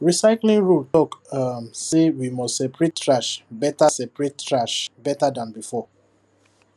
recycling rule talk um say we must separate trash better separate trash better than before